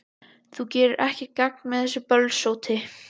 Þú gerir ekkert gagn með þessu bölsóti,